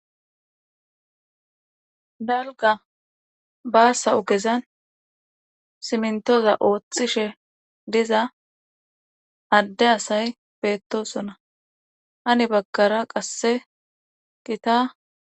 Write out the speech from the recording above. Dalgga baasa ogezan simintoza oothishe diza adde asay beettoosona hani baggara qasse gita.